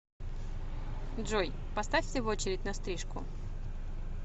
джой поставьте в очередь на стрижку